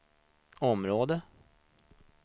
områden